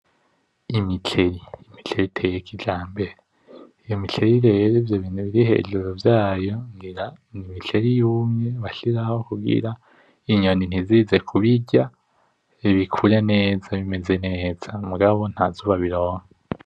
Imiceri. imiceri iteye kijambere iyo miceri rero ivyobintu biri hejuru vyayo ngira imiceri iba yumye kugira inyoni ntizize kubirya bikure neza bimeze neza mugabo ntazuba bironka.